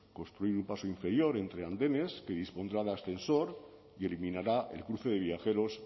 construir un paso inferior entre andenes que dispondrá de ascensor y eliminará el cruce de viajeros